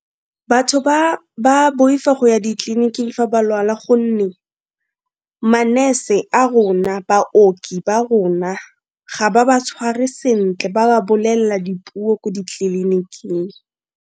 Batho ba ba boifa go ya ditliliniking fa ba lwala gonne ma-nurse a rona, baoki ba rona, ga ba ba tshware sentle ba ba bolelela dipuo ko ditleliniking.